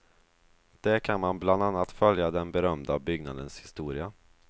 Där kan man bland annat följa den berömda byggnadens historia.